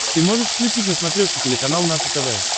ты можешь включить на смотрешке телеканал наше тв